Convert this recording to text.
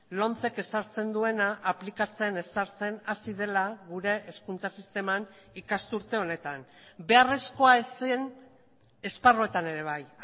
lomcek ezartzen duena aplikatzen ezartzen hasi dela gure hezkuntza sisteman ikasturte honetan beharrezkoa ez zen esparruetan ere bai